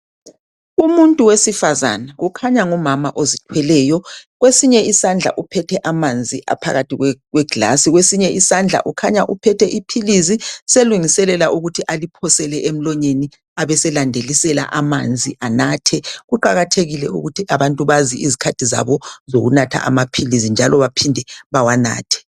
Umuntu wesifazana kukhanya ngumama ozithweleyo uthwele amanzi ngegilazi kwesinye isandla ukhanya uphethe iphilisi selungiselela ukuthi aliphose emlonyeni abeselandelisela ngamanzi , kuqakathekile ukuthi abantu babambe izikhathi zabo zamaphilisi.